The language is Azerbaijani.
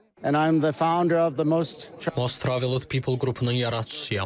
And I'm the founder of the Most Travelled People qrupunun yaradıcısıyam.